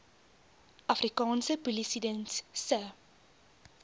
afrikaanse polisiediens se